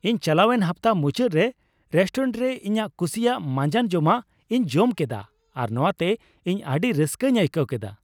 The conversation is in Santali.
ᱤᱧ ᱪᱟᱞᱟᱣᱮᱱ ᱦᱟᱯᱛᱟ ᱢᱩᱪᱟᱹᱫ ᱨᱮ ᱨᱮᱥᱴᱳᱨᱮᱱᱴ ᱨᱮ ᱤᱧᱟᱹᱜ ᱠᱩᱥᱤᱭᱟᱜ ᱢᱟᱸᱡᱟᱱ ᱡᱚᱢᱟᱜ ᱤᱧ ᱡᱚᱢ ᱠᱮᱫᱟ, ᱟᱨ ᱱᱚᱶᱟᱛᱮ ᱤᱧ ᱟᱹᱰᱤ ᱨᱟᱹᱥᱠᱟᱹᱧ ᱟᱹᱭᱠᱟᱹᱣ ᱠᱮᱫᱟ ᱾